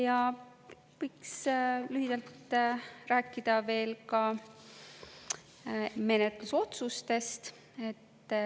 Ja võiks lühidalt rääkida veel ka menetlusotsustest.